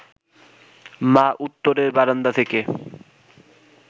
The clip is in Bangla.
মা উত্তরের বারান্দা থেকে